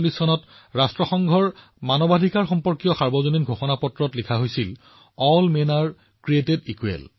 ১৯৪৭৪৮ চনত যেতিয়া ৰাষ্ট্ৰসংঘৰ মানৱ অধিকাৰৰ সাৰ্বজনীন ঘোষণাপত্ৰ প্ৰস্তুত কৰা হৈছিল ঘোষণাপত্ৰখন লিখা আছিল সকলো পুৰুষক সমানে সৃষ্টি কৰা হৈছে